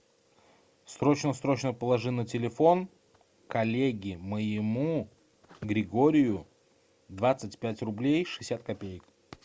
срочно срочно положи на телефон коллеге моему григорию двадцать пять рублей шестьдесят копеек